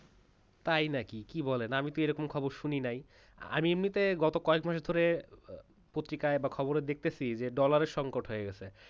তাই নাকি কি বলেন আমি তো এরকম খবর শুনি নাই এমনিতে গত কয়েক মাস ধরে পত্রিকায় বা খবরে দেখতেছি যে dollar এর সংকট হয়ে গেছে